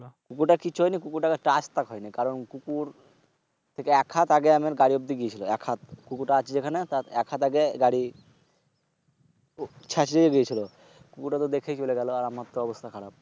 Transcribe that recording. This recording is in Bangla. কুকুরটার কিছুই হয়নি। কুকুরটার রাস্তা পায়নি। কারণ কুকুর এক হাতে আগে আমার গাড়ির অবদ্দি গিয়েছিল। এক হাত অবদ্দি কুকুরটা আছে যেখানে তার এক হাত অবদ্দি গাড়ি ছেঁচরে গিয়েছিল। কুকুরটার তো দেখেই চলে গেছিল আর আমারতো অবস্থা খারাপ।